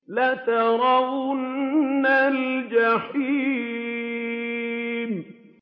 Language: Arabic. لَتَرَوُنَّ الْجَحِيمَ